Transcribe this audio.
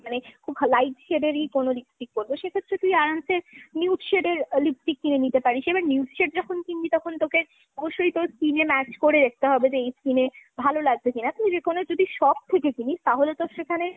মানে খুব light shade এর ই কোনো lipstick পরবো, সেক্ষেত্রে তুই আরামসে nude shade এর lipstick কিনে নিতে পারিস। এবার nude shade যখন কিনবি তখন তোকে অবশ্যই তোর skin এ match করে দেখতে হবে যে এই skin এ ভালোলাগবে কিনা? তুই যেকোনো, যদি কোনো shop থেকে কিনিস তাহলে তোর সেখানে